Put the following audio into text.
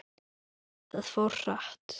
Það fór hratt.